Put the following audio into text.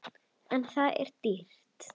En það er dýrt.